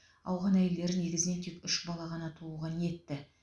ауған әйелдері негізінен тек үш бала ғана тууға ниетті